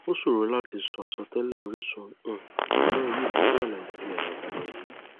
ó ṣòro láti sọ àsọtẹlẹ orísun um ìkóràn yìí pẹlú alàyé tí ẹ là kalẹ yìí